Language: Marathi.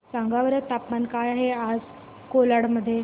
सांगा बरं तापमान काय आहे आज कोलाड मध्ये